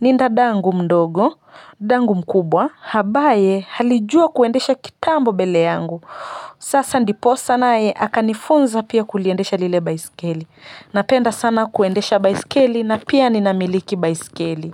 ni dadangu mdogo, dadangu mkubwa, ambaye alijua kuendesha kitambo mbele yangu. Sasa ndiposa naye, akanifunza pia kuliendesha lile baiskeli. Napenda sana kuendesha baisikeli na pia ninamiliki baisikeli.